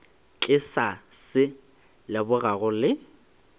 ke sa se lebogago le